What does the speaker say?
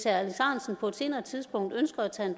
ahrendtsen på et senere tidspunkt ønsker at tage det